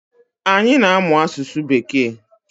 Anyi na-amụ asụsụ bekee